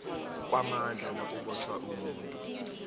kwamandla nakubotjhwa umuntu